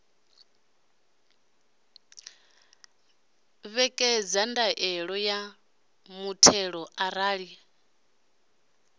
ṋekedza ndaela ya muthelo arali